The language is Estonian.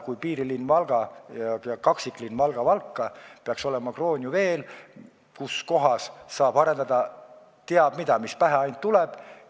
Piirilinn Valga ja kaksiklinn Valga-Valka peaks olema kroonijuveel, seal saaks arendada teab mida, kõike, mis ainult pähe tuleb.